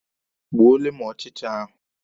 Gbuole m ọchịcha ahụ!